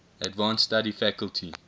advanced study faculty